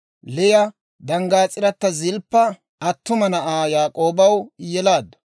Liya danggaas'irata Zilppa attuma na'aa Yaak'oobaw yelaaddu.